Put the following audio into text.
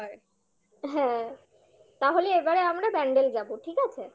হ্যাঁ তাহলে এবারে আমরা ব্যান্ডেলে যাবো ঠিক আছে?